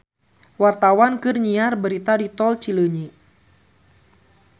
Wartawan keur nyiar berita di Tol Cileunyi